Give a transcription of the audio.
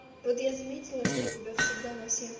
вот я заметила что тебя всегда на всех